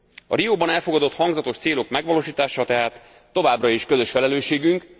A Rióban elfogadott hangzatos célok megvalósítása tehát továbbra is közös felelősségünk.